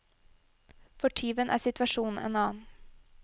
For tyven er situasjonen en annen.